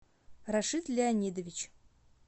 рашид леонидович